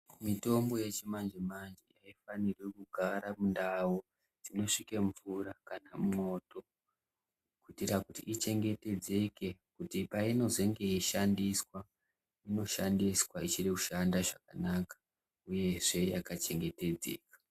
Mitombo yechimanje manje haifanirwi kugara mundau dzinosvike mvura kana mwoto, kuitira kuti ichengetedzeke kuti painozenge yeishandiswa inoshandiswa ichiri kushanda zvakanaka uyezve yakachengetedzeka.